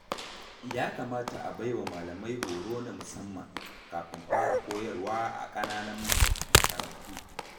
Ya kamata a baiwa malamai horo na musamman, kafin fara koyarwa a ƙananan makarantu.